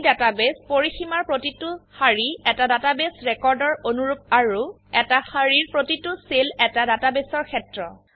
এই ডাটাবেস পৰিসীমাৰ প্ৰতিটো সাৰি এটা ডাটাবেস ৰেকৰ্ড এৰ অনুৰুপ আৰু এটা সাৰিৰ প্ৰতিটো সেল এটা ডাটাবেসৰ ক্ষেত্ৰ